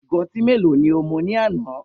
Igo ọtí mélòó ni o mu ní àná?